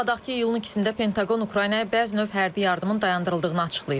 Xatırladaq ki, iyulun üçündə Pentaqon Ukraynaya bəzi növ hərbi yardımın dayandırıldığını açıqlayıb.